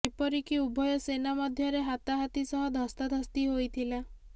ଏପରିକି ଉଭୟ ସେନା ମଧ୍ୟରେ ହାତାହାତି ସହ ଧସ୍ତାଧସ୍ତି ହୋଇଥିଲା